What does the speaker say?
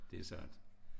Det sandt